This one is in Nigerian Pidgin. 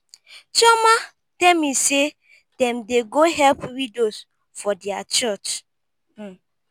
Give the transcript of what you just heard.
chioma tell me say dem dey go help widows for their church.